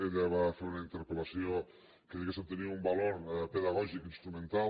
ella va fer una interpel·lació que diguéssem tenia un valor pedagògic i instrumental